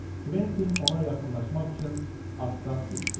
Kventin ona yaxınlaşmaq üçün atdan düşdü.